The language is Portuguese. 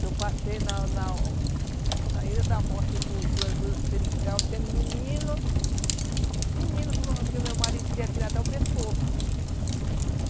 que eu passei na na Ilha da Morte, para o Seringal, tendo menino, menino que o meu marido queria tirar até o pescoço.